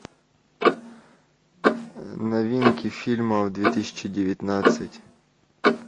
новинки фильмов две тысячи девятнадцать